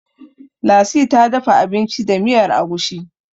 lasi ta dafa abinci da miyar agushi